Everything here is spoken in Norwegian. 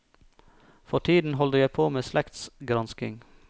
For tiden holder jeg på med slektsgransking.